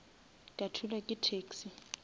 ka thulwa ke taxi